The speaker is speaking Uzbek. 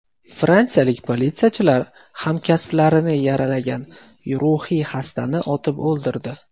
Fransiyalik politsiyachilar hamkasblarini yaralagan ruhiy xastani otib o‘ldirdi.